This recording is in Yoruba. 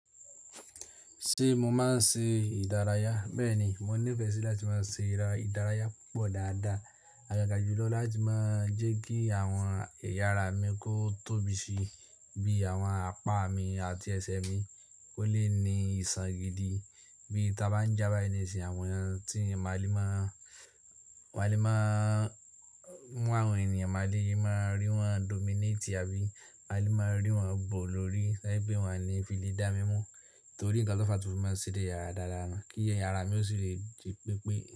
Ṣé mo máa ń ṣe ìdárayá? Bẹ́ẹ̀ni, mo nífẹ̀ẹ́ sí láti máa ṣe ìdárayá púpọ̀ dáadáa. Àgàgà jùlọ láti máa jẹ́ kí àwọn ẹ̀yà ara mi kó tóbi síi bí àwọn apá mi àti ẹsẹ̀ mi kó lè ní ìṣàn gidi bí ta bá ń já bái ni sìn àwọn wọn tí a máa lè máa, máa lè máa mú àwọn ènìyàn, máa lè máa rí wọ́n dominate àbí máa lè máa rí wọ́n bo lórí to jẹ pé wọ́n ni fì le dámímú torí ǹkan tó fa tí mo máa ń ṣe eré ìdárayá náà kí ẹya ara mi ó sì lè di pépé.